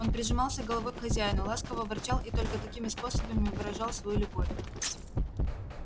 он прижимался головой к хозяину ласково ворчал и только такими способами выражал свою любовь